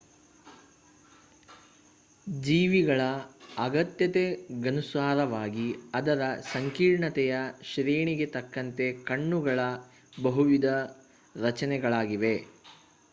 ಜೀವಿಗಳ ಅಗತ್ಯತೆಗನುಸಾರವಾಗಿ ಅದರ ಸಂಕೀರ್ಣತೆಯ ಶ್ರೇಣಿಗೆ ತಕ್ಕಂತೆ ಕಣ್ಣುಗಳ ಬಹುವಿಧ ರಚನೆಗಳಿವೆ